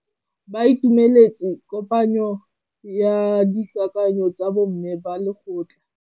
Ba itumeletse kôpanyo ya dikakanyô tsa bo mme ba lekgotla.